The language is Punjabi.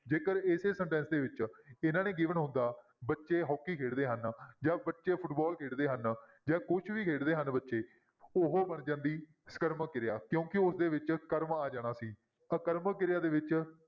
ਜੇਕਰ ਇਸੇ sentence ਦੇ ਵਿੱਚ ਇਹਨਾਂ ਨੇ given ਬੱਚੇ ਹਾਕੀ ਖੇਡਦੇ ਹਨ ਜਾਂ ਬੱਚੇ ਫੁਟਬਾਲ ਖੇਡਦੇ ਹਨ ਜਾਂ ਕੁਛ ਵੀ ਖੇਡਦੇ ਹਨ ਬੱਚੇ, ਉਹ ਬਣ ਜਾਂਦੀ ਸਕਰਮਕ ਕਿਰਿਆ ਕਿਉਂਕਿ ਉਸਦੇ ਵਿੱਚ ਸਕਰਮ ਆ ਜਾਣਾ ਸੀ ਆਕਰਮਕ ਕਿਰਿਆ ਦੇ ਵਿੱਚ